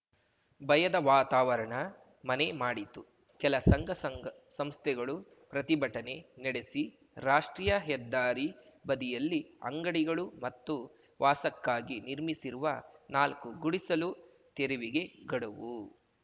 ಭಯದ ವಾತಾವರಣ ಮನೆ ಮಾಡಿತ್ತು ಕೆಲ ಸಂಘ ಸಂಗ ಸಂಸ್ಥೆಗಳು ಪ್ರತಿಭಟನೆ ನಡೆಸಿ ರಾಷ್ಟ್ರೀಯ ಹೆದ್ದಾರಿ ಬದಿಯಲ್ಲಿ ಅಂಗಡಿಗಳು ಮತ್ತು ವಾಸಕ್ಕಾಗಿ ನಿರ್ಮಿಸಿರುವ ನಾಲ್ಕು ಗುಡಿಸಲು ತೆರವಿಗೆ ಗಡುವು